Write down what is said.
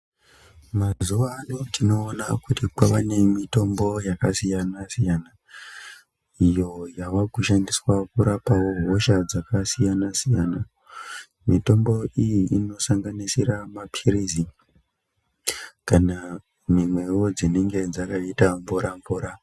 Mazuwa ano tinoona kuti kwava nemitombo yakasiyana siyana, iyo yava kushandiswa kurapawo hosha yakasiyana siyana, mitombo iyi inorapa mapirizi kana mimwewo dzinenge dzakaita mvura mvura.